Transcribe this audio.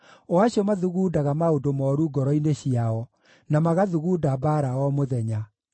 o acio mathugundaga maũndũ mooru ngoro-inĩ ciao, na magathugunda mbaara o mũthenya.